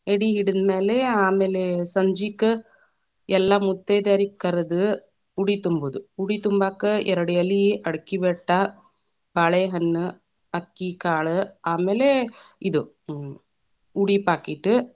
ಎಡಿ ಹಿಡಿದ್ ಮ್ಯಾಲೆ, ಆಮೇಲೆ ಸಂಜಿಕ ಎಲ್ಲಾ ಮುತ್ತೈದೆಯರಿಗ್ ಕರೆದ, ಉಡಿ ತುಂಬುದು, ಉಡಿ ತುಂಬಾಕ ಎರಡ ಎಲಿ, ಅಡಕಿಬೆಟ್ಟ, ಬಾಳೆಹಣ್ಣು ಅಕ್ಕಿಕಾಳ ಆಮೇಲೆ ಇದ್‌, ಉಡಿ packet .